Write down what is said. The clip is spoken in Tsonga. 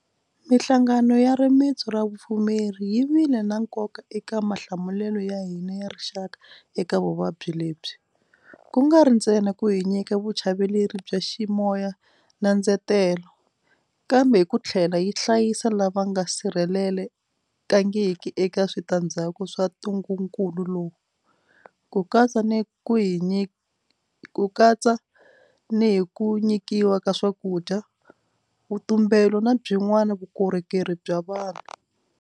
Mihlangano ya rimitsu ra vupfumeri yi vile na nkoka eka mahlamulelo ya hina ya rixaka eka vuvabyi lebyi, ku nga ri ntsena ku hi nyika vuchaveleri bya ximoya na ndzetelo, kambe hi ku tlhela yi hlayisa lava nga sirhelele kangiki eka switandzhaku swa ntungukulu lowu, ku katsa ni hi ku nyikiwa ka swakudya, vutumbelo na byin'wana vukorhokeri bya vanhu.